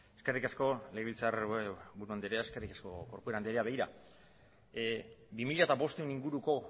eskerrik asko legebiltzar buru anderea eskerrik asko corcuera anderea begira bi mila bostehun inguruko